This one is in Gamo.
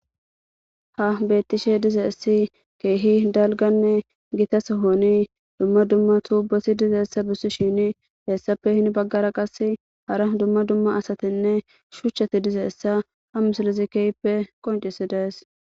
Ha betishe dizays issi dalganne gita sohon dumma dumma tuboti dizaysa besishin heape hen bagara qase hara dumma dumma asatnne shuchati dizaysa ha misilez kehipe qoncisides